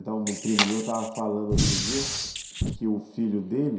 Um primo meu estava falando outro dia que o filho dele...